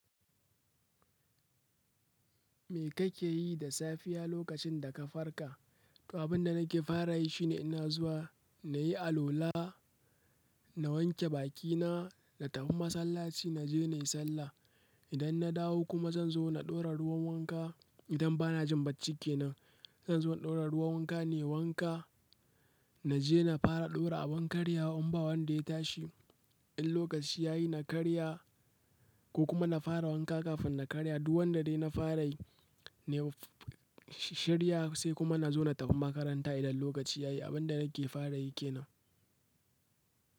Me kake yi da safiya lokacin da ka farka? Abinda nake fara yi shine ina zuwa na yi alwala, na wanke bakina, na tafi masallaci, naje nayi sallah. Idan na dawo kuma zan zo na ɗora ruwan wanka. Idan ba na jin bacci kenan, zanzo in ɗaura ruwan wanka nayi wanka. Naje na fara ɗora abin karya in ba wanda ya tashi. In lokaci yayi na karya ko kuma na fara wanka kafin na karya. Duk wanda dai na fara yi, na shirya sai kuma na zo na tafi makaranta idan lokaci ya yi. Abin da nake fara yi ke nan.